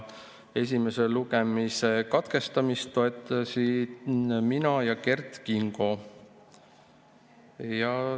Esimese lugemise katkestamist toetasime mina ja Kert Kingo.